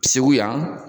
Segu yan